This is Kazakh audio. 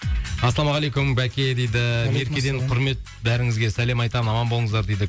ассалаумағалейкум бәке дейді меркеден құрмет бәріңізге сәлем айтамын аман болыңыздар дейді